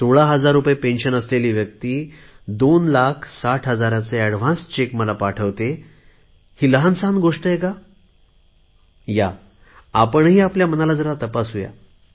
सोळा हजार रुपये निवृत्ती वेतन असलेली व्यक्ती 2 लाख 60 हजारांचे एडव्हान्स चेक मला पाठवते ही लहानसहान गोष्ट आहे का आपणही आपल्या मनाला जरा तपासूया